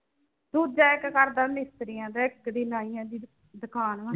ਦੂਜਾ ਇੱਕ ਕਰਦਾ ਮਿਸਤਰੀਆਂ ਦਾ ਇੱਕ ਦੀ ਨਾਈਆਂ ਦੀ ਦੁਕਾਨ ਆ।